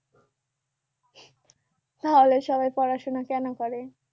তাহলে সবাই পড়াশোনা কেন করে